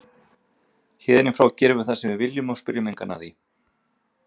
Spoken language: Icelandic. Héðan í frá gerum við það sem við viljum og spyrjum engan að því.